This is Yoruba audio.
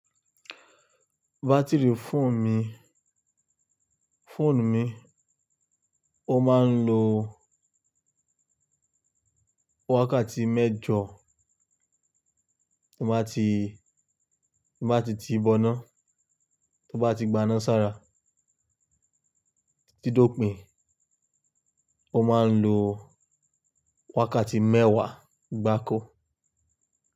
Batiri fóònù mi, fóònù mi ó máa ń lo wákàtí mẹ́jọ tibá ti, tì bọná tó bá ti gbaná sára títí tó pìn, ó máa ń lo wákàtí mẹ́wàá gbákọ̀.